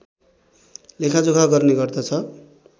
लेखा जोखा गर्ने गर्दछ